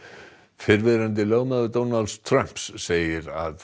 fyrrverandi lögmaður Donalds Trumps segir að